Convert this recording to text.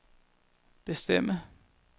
bestemme